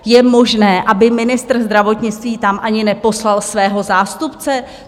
Je možné, aby ministr zdravotnictví tam ani neposlal svého zástupce?